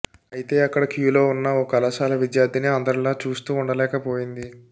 అయితే అక్కడ క్యూలో ఉన్న ఓ కళాశాల విద్యార్థిని అందరిలా చూస్తూ ఉండలేకపోయింది